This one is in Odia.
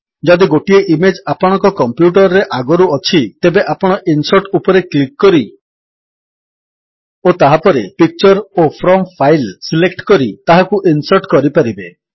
ଯଦି ଗୋଟିଏ ଇମେଜ୍ ଆପଣଙ୍କ କମ୍ପ୍ୟୁଟର୍ ରେ ଆଗରୁ ଅଛି ତେବେ ଆପଣ ଇନସର୍ଟ ଉପରେ କ୍ଲିକ୍ କରି ଓ ତାହାପରେ ପିକ୍ଚର ଓ ଫ୍ରମ୍ ଫାଇଲ୍ ସିଲେକ୍ଟ କରି ତାହାକୁ ଇନ୍ସର୍ଟ କରିପାରିବେ